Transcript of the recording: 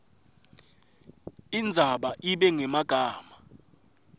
indzaba ibe ngemagama